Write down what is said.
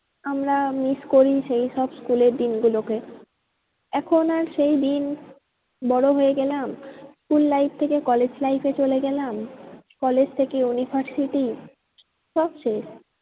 আমরা miss করি সেই সব school এর দিন গুলোকে। এখন আর সেই দিন বড়ো হয়ে গেলাম school থেকে college life এ চলে গেলাম college থেকে university সব শেষ।